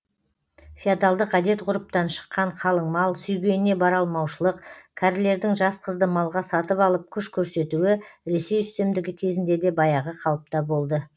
феодалдық әдет ғұрыптан шыққан қалың мал сүйгеніне бара алмаушылық кәрілердің жас қызды малға сатып алып күш көрсетуі ресей үстемдігі кезінде де баяғы қалыпта болды